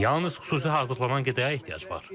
Yalnız xüsusi hazırlanan qidaya ehtiyac var.